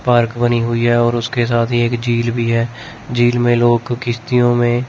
park बनी हुई है और उसके साथ ही एक झील भी है झील में लोग किश्तियों में--